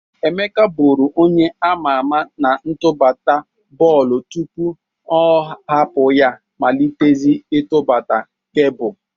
Emeka bụru onye ama ama n'atụbata bọlbụ tụpụ ọ hapụ ya malịtezie ịtụgbata kebụl.